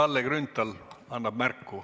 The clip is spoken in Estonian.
Kalle Grünthal annab märku.